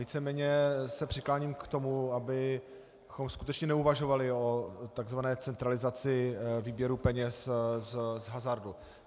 Víceméně se přikláním k tomu, abychom skutečně neuvažovali o tzv. centralizaci výběru peněz z hazardu.